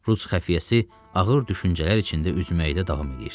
Rus xəfiyyəsi ağır düşüncələr içində üzməyə də davam eləyirdi.